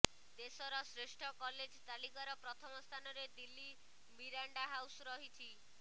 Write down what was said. ଦେଶର ଶ୍ରେଷ୍ଠ କଲେଜ ତାଲିକାର ପ୍ରଥମ ସ୍ଥାନରେ ଦିଲ୍ଲୀ ମିରାଣ୍ଡା ହାଉସ୍ ରହିଛି